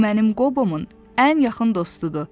o mənim Qobomun ən yaxın dostudur.